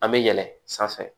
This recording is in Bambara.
An bɛ yɛlɛn sanfɛ